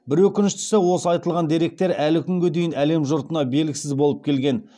бір өкініштісі осы айтылған деректер әлі күнге дейін әлем жұртына белгісіз болып келген